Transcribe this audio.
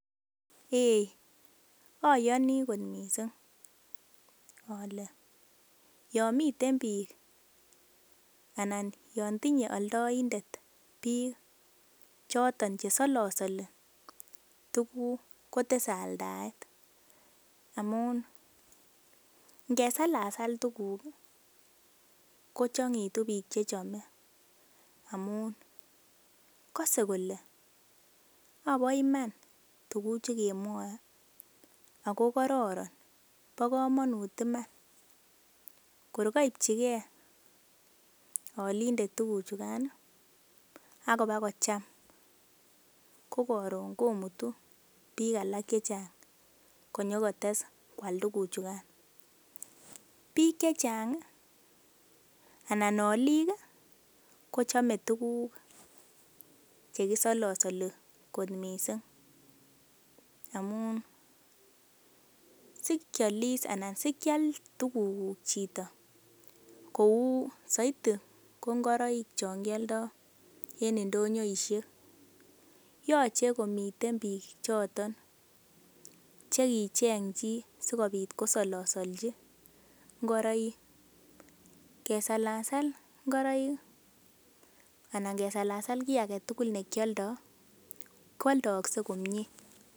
Eiy oyoni kot mising ole yon miten biik anan yon tinye oldoindet biik choton che solosoli tuguk kotese aldaet amun. ingesalasal tuguk kochang'egitu biik che chome amun kose kole ak bo iman tuguchu kemwoe ago kororon, bo komonut iman kor koibchi ge olindet tuguchu gan ak ibakocham ko karon komutu biiik alak che chnag konyo kotes koal tuguchukan. Biik chechang anan olik ko chome tuguk che kisolosoli kot missing amun sikyolis anan sikyal tuguk chito kou soitii ko ngoroik chon kioldo en ndonyoishek. Yoche komiten biik choton che kicheng chii sikobit kosolosolchi ngoroik. Kesalsal ngoroik anan kesalalsal kiy age tugul ne kyoldo koaldaogse komie.